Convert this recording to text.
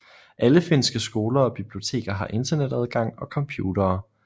Alle finske skoler og biblioteker har Internetadgang og computere